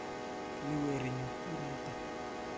Ii werinyu, u noto.